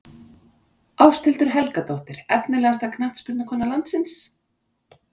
Ásthildur Helgadóttir Efnilegasta knattspyrnukona landsins?